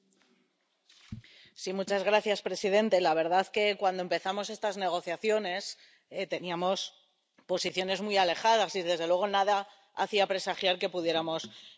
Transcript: Señor presidente, la verdad es que, cuando empezamos estas negociaciones teníamos posiciones muy alejadas y, desde luego, nada hacía presagiar que pudiéramos llegar a un acuerdo.